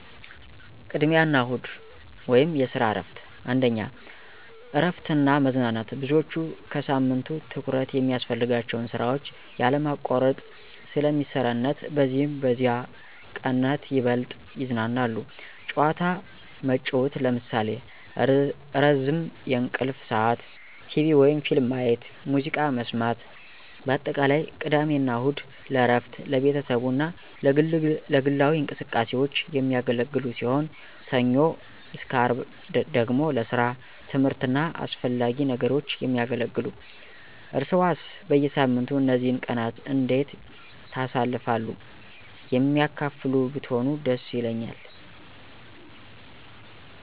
ቅድሚያ አና እሁድ (የሰራ እረፍት ) 1, እረፍት እና መዝናናት _ብዙዎች ከሳምንቱ ትኩረት የሚያስፈልጋቸውን ስራዎች ያለማቋረጥ ስለ ሚሰረነት በዚህም በዚህ ቀነት ይበልጥ ይዝናናሉ። ጨዋታ መጨዉት ለምሳሌ፦ ረዝም የእንቅልፍ ስዓት፣ ቴቪ/ፊልም ማየት፣ ሙዝቃ መሰማት በአጠቃላይ፦ ቅድሜ አና እሁድ ለእረፍት፣ ለቤተሰቡ አና ለግላዊ እንቅስቃሴዎች። የሚያገለግሉ ሲሆን፣ ሰኞ _አርብ ደግሞ ለሰራ፣ ትምህርት አና አሰፈላጊ ነገሮች የሚያገለግሉ። እርሰዋሰ በየሳምንቱ እነዚህን ቀናት እንዴት ታሳልፍሉ የሚያካፍሉ ብትሆኑ ደስ ይለኛል።